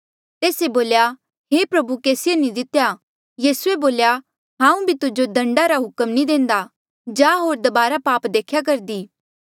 तेस्से बोल्या हे प्रभु केसिए नी दितेया यीसूए बोल्या हांऊँ भी तुजो दंडा रा हुक्म नी देंदा जा होर दबारा पाप देख्या करदी